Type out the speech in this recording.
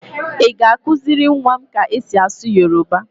Ị ga-akụziri nwa m ka e si asụ Yoroba?